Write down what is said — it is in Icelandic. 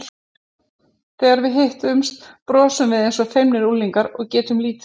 Þegar við hittumst brosum við eins og feimnir unglingar og getum lítið sagt.